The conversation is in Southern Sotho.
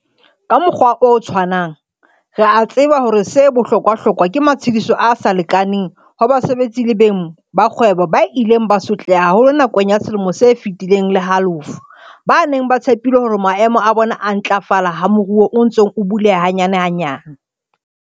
Ka mokgwa o tshwanang re a tseba hore 'se bohlokwahlokwa' ke matshediso a sa lekaneng ho basebetsi le beng ba dikgwebo ba ileng ba sotleha haholo nakong ya selemo se feti leng le halofo, ba neng ba tshepile hore maemo a bona a ntlafala ha moruo o ntse o buleha hanyanehanyane.